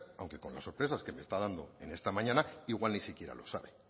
aunque con las sorpresas que me está dando en esta mañana igual ni siquiera lo sabe